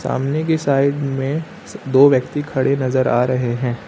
सामने की साइड में दो व्यक्ति खड़े नजर आ रहे हैं।